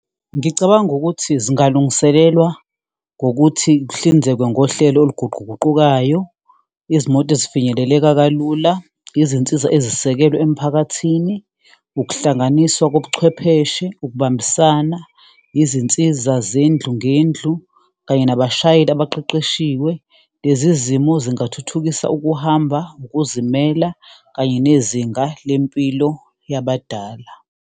Ngicabanga ukuthi zingalungisekelwa ngokuthi kuhlinzekwe ngohlelo oluguquguqukayo, izimoto ezifinyeleleka kalula, izinsiza ezisekelwe emphakathini, ukuhlanganiswa kobuchwepheshe, ukubambisana, izinsiza zendlu ngendlu, kanye nabashayeli abaqeqeshiwe. Lezi zimo zingathuthukisa ukuhamba, ukuzimela kanye nezinga lempilo yabadala.